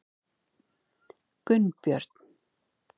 Gunnbjörn